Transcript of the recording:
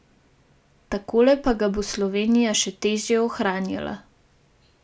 Takole pa ga bo Slovenija še težje ohranjala.